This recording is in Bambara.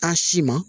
K'a si ma